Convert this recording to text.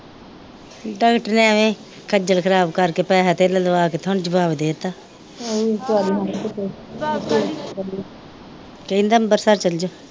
Doctor ਨੇ ਐਵੇ ਈ ਖਜਲ ਖਰਾਬ ਕਰਕੇ ਪੈਸਾ ਟੇਲਾ ਲਵਾ ਲੈ ਤੇ ਹੁਣ ਜਵਾਬ ਦੇਤਾ ਕਹਿੰਦਾ ਅੰਬਰਸਰ ਚਲਜੋ।